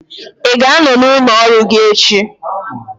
ị ga-anọ n'ụlọ ọrụ gị echi?